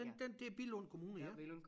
Den den det er Billund Kommune ja